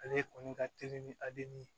Ale kɔni ka teli ni adeli ye